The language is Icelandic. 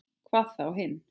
Hvað þá hinn.